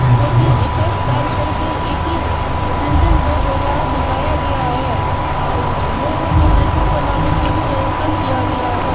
जो की इफेक्ट डालकर एक ही बिल्डिंग को दोबारा दिखाया गया है लोगों को बेकूफ बनाने के लिए ऐसा किया गया है।